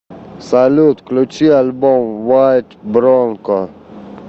салют включи альбом вайт бронко